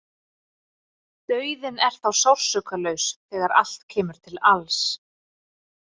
Dauðinn er þá sársaukalaus þegar allt kemur til alls.